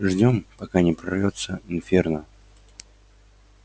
ждём пока не прорвётся инферно